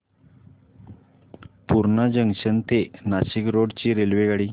Purna junction ते Nashik road ची रेल्वेगाडी